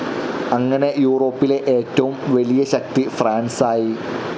അങ്ങനെ യൂറോപ്പിലെ ഏറ്റവും വലിയ ശക്തി ഫ്രാൻസായി.